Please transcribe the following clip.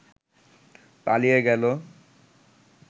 পালিয়ে গেল